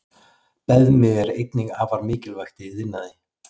Beðmi er einnig afar mikilvægt í iðnaði.